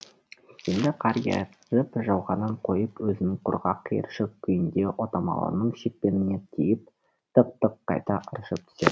енді қар еріп жауғанын қойып өзінің құрғақ қиыршық күйінде отамалының шекпеніне тиіп тық тық қайта ыршып түседі